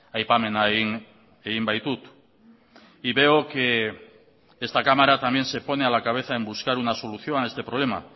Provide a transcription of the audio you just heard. aipamena egin baitut y veo que esta cámara también se pone a la cabeza en buscar una solución a este problema